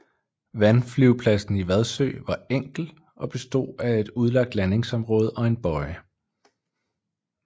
Vandflyvepladsen i Vadsø var enkel og bestod af et udlagt landingsområde og en bøje